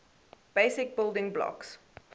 basic building blocks